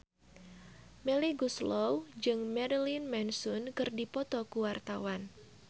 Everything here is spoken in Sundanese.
Melly Goeslaw jeung Marilyn Manson keur dipoto ku wartawan